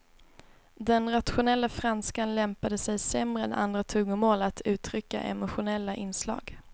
Den rationella franskan lämpade sig sämre än andra tungomål att uttrycka emotionella inslag.